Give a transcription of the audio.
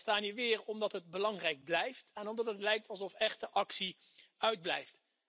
We staan hier weer omdat het belangrijk blijft en omdat het lijkt alsof echte actie uitblijft.